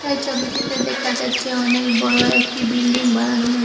এই ছবিটিতে দেখা যাচ্ছে অনেক বড় একটি বিল্ডিং বানানো হয়ে--